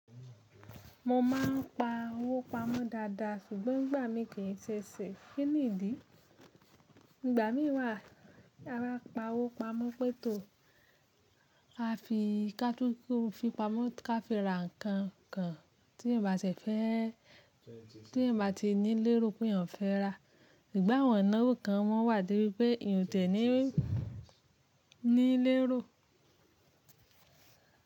Mo ma n pa owó pamọ́ dáadáa ṣùgbọ́n ìgbà mi kì í ṣe sè. Kí nìdí? Ìgbà mí wa, taba pa owó pamọ́ pé tò a fi kátúúkú fi pamọ́ ká fi ra nǹkan kan tí ẹ bà tí ní lérò pé yàn fẹ́ rà. Sugbon awọ́n ináwo kan mọ́ wà de bí pé eeyan ti eẹ̀ ní lérò.